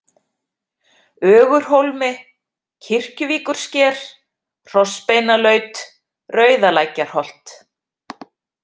Ögurhólmi, Kirkjuvíkursker, Hrossbeinalaut, Rauðalækjarholt